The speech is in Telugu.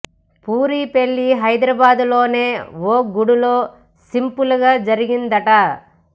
పూరి పెళ్లి హైదరాబాద్ లోనే ఓ గుడిలో సింపుల్ గా జరిగిందిట